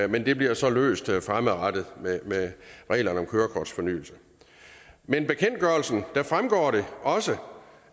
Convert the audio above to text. men det bliver så løst fremadrettet med reglerne om kørekortsfornyelse men af bekendtgørelsen fremgår det også